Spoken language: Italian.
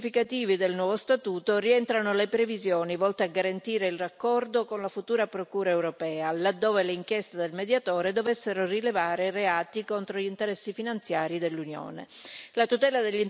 Fra gli aspetti più significativi del nuovo statuto rientrano le previsioni volte a garantire il raccordo con la futura Procura europea, laddove le inchieste del Mediatore dovessero rilevare reati contro gli interessi finanziari dell'Unione.